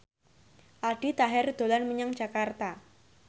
Aldi Taher dolan menyang Jakarta